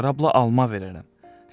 Sənə şərabla alma verərəm.